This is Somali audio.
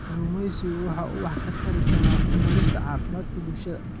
Kalluumaysigu waxa uu wax ka tari karaa horumarinta caafimaadka bulshada.